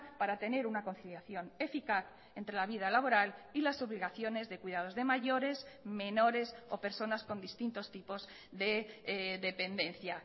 para tener una conciliación eficaz entre la vida laboral y las obligaciones de cuidados de mayores menores o personas con distintos tipos de dependencia